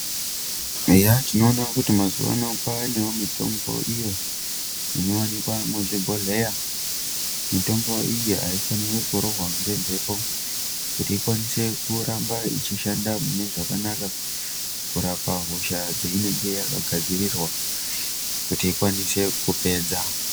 Eya tinoona kuti mazuwano kwavanewo mitombo iyo inowanikwa muzvibhodhleya mitombo iyi aifanirwi kurohwa ngemhepo kuti ikwanise kuramba ichishanda mune zvakanaka kurapa hosha dzeinenge yakagadzirirwa kuti ikwanise kupedza.